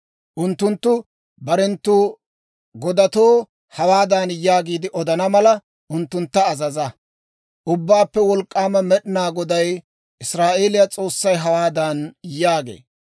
Unttunttu barenttu godatoo hawaadan yaagiide odana mala, unttuntta azaza; ‹Ubbaappe Wolk'k'aama Med'inaa Goday, Israa'eeliyaa S'oossay hawaadan yaagee;